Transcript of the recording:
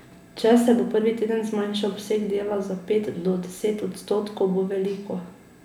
Če se bo prvi teden zmanjšal obseg dela za pet do deset odstotkov, bo veliko.